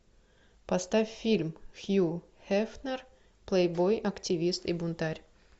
поставь фильм хью хефнер плейбой активист и бунтарь